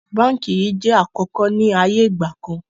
Báńkì yìí jẹ̀ àkọ́kọ́ ni ayé ìgbàkan